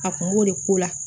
A kun b'o de ko la